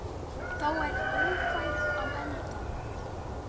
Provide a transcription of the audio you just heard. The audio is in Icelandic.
Þá er Ófærð á enda.